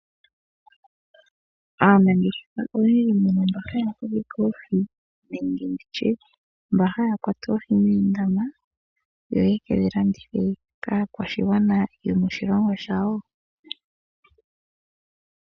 Aanangeshefa oyendji mbono haya kunu oohi nenge mba haya kwata oohi moondama, yo yekedhi landithe kaakwashigwana yomoshilongo shawo .